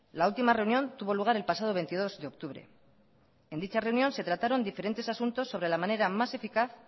la ultima reunión tuvo lugar el pasado veintidós de octubre en dicha reunión se trataron diferentes asuntos sobre la manera más eficaz